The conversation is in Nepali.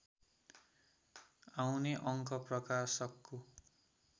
आउने अङ्क प्रकाशकको